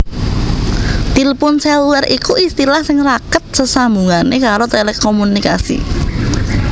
Tilpun sélulèr iku istilah sing rakèt sesambungané karo télékomunikasi